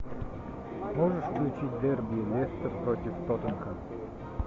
можешь включить дерби лестер против тоттенхэм